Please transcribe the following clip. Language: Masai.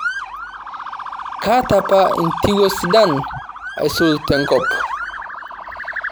Kaata apa intiwuo sidan aisul tenkop